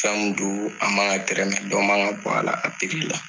Fɛn min don a man ka tɛrɛmɛ dɔ man ka bɔ a la